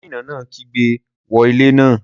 Gómìnà náà kígbe 'wó ilé náà'